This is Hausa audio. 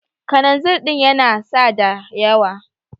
Kananzir din yana sada yawa.